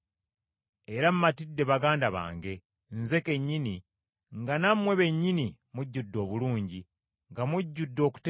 Era matidde baganda bange, nze kennyini, nga nammwe bennyini mujjudde obulungi, nga mujjudde okutegeera kwonna, era nga muyinza okubuuliriragana.